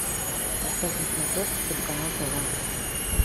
поставь на смотрешке телеканал тв